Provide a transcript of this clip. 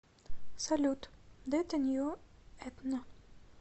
салют дэто нью этно